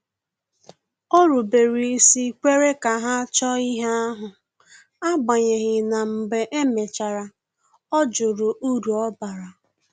O rubere isi kwere ka ha chọọ ihe ahụ, agbanyeghi na mgbe e mechara ọ jụrụ uru ọ bara